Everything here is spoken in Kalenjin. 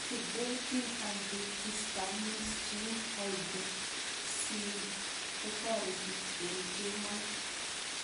Sedating antihistamines cheu hydroxyzine kotareti eng' kemoi